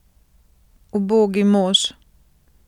Ubogi mož!